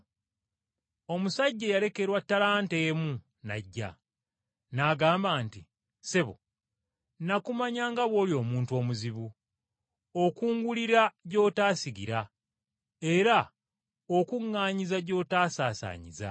“Omusajja eyalekerwa ttalanta emu n’ajja, n’agamba nti, ‘Ssebo, nakumanya nga bw’oli omuntu omuzibu, okungulira gy’otaasigira era okuŋŋaanyiza gy’otaasaasaanyiza.